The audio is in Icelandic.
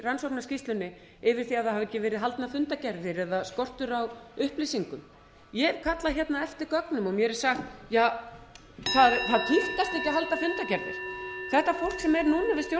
rannsóknarskýrslunni yfir því að það hafi ekki verið haldnar fundargerðir eða skortur á upplýsingum ég hef kallað hérna eftir gögnum og mér er sagt ja það þýddi ekkert að halda fundargerðir þetta fólk